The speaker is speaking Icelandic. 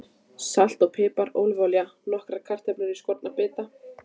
Salt og pipar Ólífuolía Nokkrar kartöflur skornar í bita.